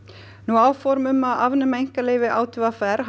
áform um að afnema einkaleyfi á t v r